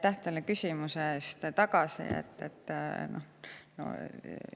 Ma tulen teie esimese kommentaari juurde tagasi.